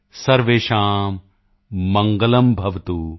ਸਰਵੇਸ਼ਾਂ ਮਡਗਲੰਭਵਤੁ